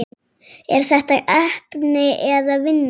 Er þetta heppni eða vinna?